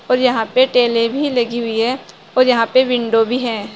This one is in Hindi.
और यहां पे टेले भी लगी हुई हैं और यहां पे विंडो भी है।